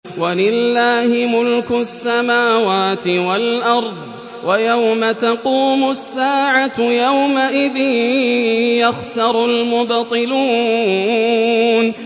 وَلِلَّهِ مُلْكُ السَّمَاوَاتِ وَالْأَرْضِ ۚ وَيَوْمَ تَقُومُ السَّاعَةُ يَوْمَئِذٍ يَخْسَرُ الْمُبْطِلُونَ